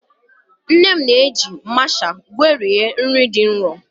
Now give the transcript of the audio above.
Nne m na-eji masha gwerie nri dị nro.